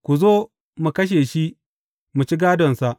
Ku zo, mu kashe shi, mu ci gādonsa.’